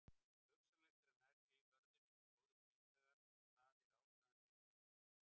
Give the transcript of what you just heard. Hugsanlegt er að nærri vörðunni séu góðir bithagar og að það sé ástæðan fyrir nafngiftinni.